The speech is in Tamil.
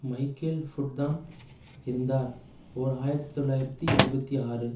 மைக்கேல் புட்தான் இருந்தார் ஓர் ஆயிரத்தி தொள்ளாயிரத்து எழுபத்தி ஆறு